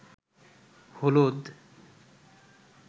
হলুদ